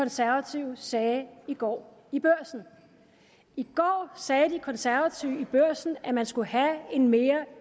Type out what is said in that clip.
konservative sagde i går i børsen i går sagde de konservative i børsen at man skulle have en mere